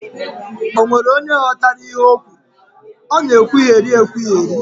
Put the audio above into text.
Ọ nwere onye ghọtara ihe ọ kwuru? Ọ na ekwugheri ekwugheri